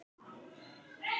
Og að lokum.